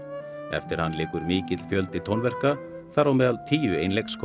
eftir hann liggur mikill fjöldi tónverka þar á meðal tíu